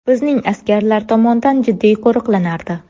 Bizning askarlar tomonidan jiddiy qo‘riqlanardi.